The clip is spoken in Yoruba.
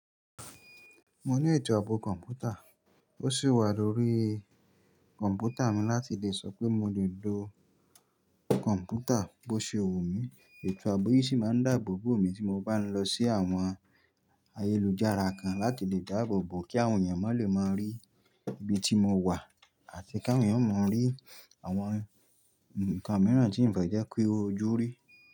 Mo ní ètò ààbò kọ̀ǹpútà, ó sì wà lórí kọ̀ǹpútà mi láti lè sọ pé mo lè lo kọ̀ǹpútà bó ṣe wù mí. Ètò ààbò yìí sì máa ń dàbòbò mi tí mo bá ń lọ sí àwọn ayélujára kan láti lè dáàbòbò kí àwọn èèyàn má lè máa rí ibi tí mo wà àti kí àwọn èèyàn má rí àwọn ǹkan mìíràn tí n fẹ́ jẹ́ ki ó ju rí.